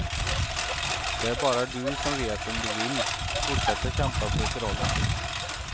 Det är bara du som vet om du vill fortsätta kämpa för förhållandet.